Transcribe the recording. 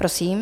Prosím.